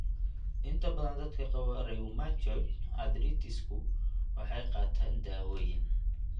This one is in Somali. Inta badan dadka qaba rheumatoid arthritis-ku waxay qaataan dawooyin.